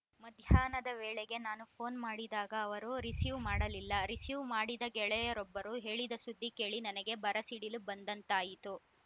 ಮಧ್ಯಾಹ್ನದ ವೇಳೆಗೆ ನಾನು ಪೋನ್‌ ಮಾಡಿದಾಗ ಅವರು ರಿಸೀವ್‌ ಮಾಡಲಿಲ್ಲ ರಿಸೀವ್‌ ಮಾಡಿದ ಗೆಳೆಯರೊಬ್ಬರು ಹೇಳಿದ ಸುದ್ದಿ ಕೇಳಿ ನನಗೆ ಬರಸಿಡಿಲು ಬಂದಂತಾಯಿತು